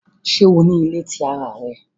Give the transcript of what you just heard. Ṣe o ni ile ti ara rẹ?